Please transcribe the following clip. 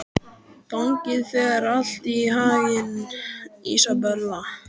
Gangi þér allt í haginn, Ísabella.